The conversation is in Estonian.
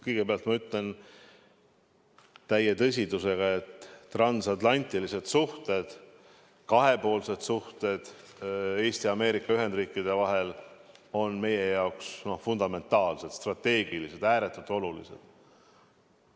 Kõigepealt ütlen täie tõsidusega, et transatlantilised suhted, kahepoolsed suhted Eesti ja Ameerika Ühendriikide vahel on meie jaoks fundamentaalsed, strateegilised, ääretult olulised.